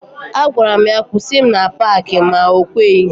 A gwaram ya kwụsị m na Paaki ma o kweghi.